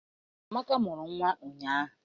Amaka mụrụ nnwa ụnyaahụ